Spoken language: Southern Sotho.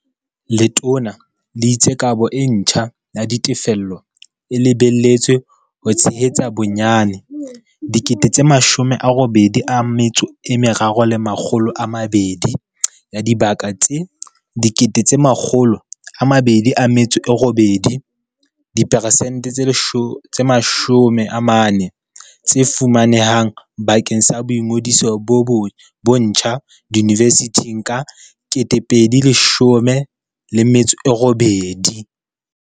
Letona le itse kabo e ntjha ya ditefello e lebeletswe ho tshe hetsa bonyane 83 200 ya dibaka tse 208 000 diperesente tse 40 tse fumane hang bakeng sa boingodiso bo ntjha diyunivesithing ka 2018.